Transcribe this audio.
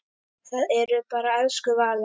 Það er bara elsku Vala.